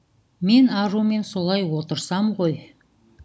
мен арумен солай отырсам ғой